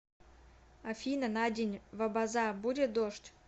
афина на день в абаза будет дождь